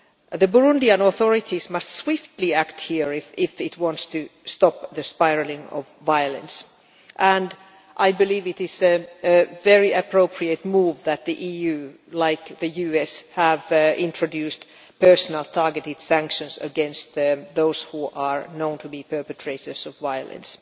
The Burundian authorities must swiftly act here if they want to stop the spiralling of violence, and I believe it is a very appropriate move that the EU, like the US, has introduced personal targeted sanctions against those who are known to be perpetrators of violence.